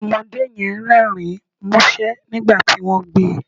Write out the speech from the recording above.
Ọmọdé yẹn Rẹ́rìn-ín músẹ́ nígbà tí wọ́n gbé e